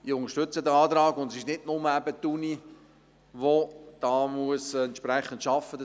Ich unterstütze diesen Antrag, und es ist nicht nur die Universität, die hier entsprechend arbeiten muss.